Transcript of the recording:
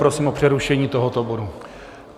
Prosím o přerušení tohoto bodu.